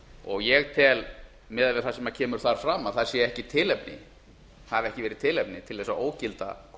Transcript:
og ég tel miðað við það sem kemur þar fram að það hafi ekki tilefni til að ógilda